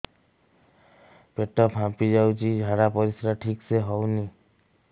ପେଟ ଫାମ୍ପି ଯାଉଛି ଝାଡ଼ା ପରିସ୍ରା ଠିକ ସେ ହଉନି